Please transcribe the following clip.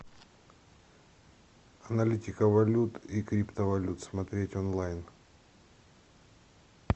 аналитика валют и криптовалют смотреть онлайн